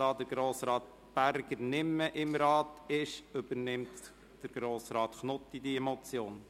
Da Grossrat Berger dem Rat nicht mehr angehört, übernimmt Grossrat Knutti die Motion.